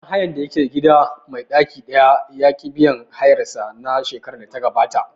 Ɗan hayan da yake gida mai ɗaki ɗaya ya ƙi biyan hayar sa na shekarar da ta gabata